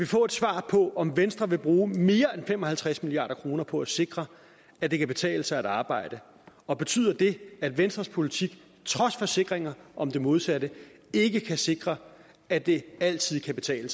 få et svar på om venstre vil bruge mere end fem og halvtreds milliard kroner på at sikre at det kan betale sig at arbejde og betyder det at venstres politik trods forsikringer om det modsatte ikke kan sikre at det altid kan betale